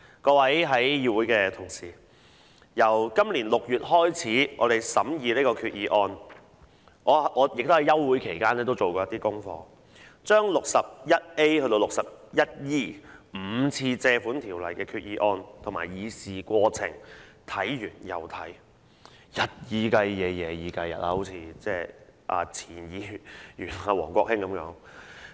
各位議會裏的同事，我們由今年6月開始審議這項決議案，我在休會期間也做過功課，把第 61A 章至第 61E 章5次根據《借款條例》提出的決議案和議事過程看完又看，日以繼夜、夜以繼日的看，好像前議員王國興一樣。